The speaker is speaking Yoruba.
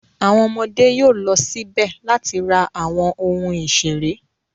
Àwọn ọmọdé yóò lọ síbẹ̀ láti ra àwọn ohun ìṣeré.